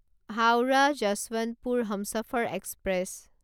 Howrah Yesvantpur Humsafar express